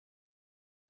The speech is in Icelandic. Hann sagði aftur pass.